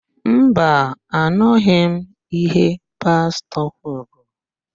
Mba, anụghị m íhé Pastọ kwuru.